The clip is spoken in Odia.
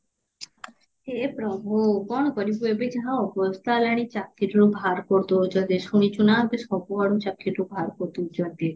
ହେ ପ୍ରଭୁ କଣ କରିବୁ ଏବେ ଯାହା ଅବସ୍ଥା ହେଲାଣି ଚାକିରିରୁ ବାହାର କରି ଦଉଛନ୍ତି ଶୁଣିଛୁ ନା ଏବେ ସବୁଆଡୁ ଚାକିରିରୁ ବାହାର କରି ଦଉଛନ୍ତି